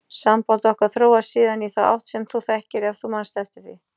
Samband okkar þróaðist síðan í þá átt sem þú þekkir ef þú manst eftir því.